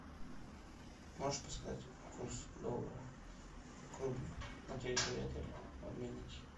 можешь подсказать курс доллара к рублю на территории отеля в обменнике